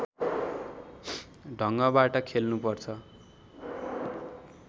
ढङगबाट खेल्नुपर्छ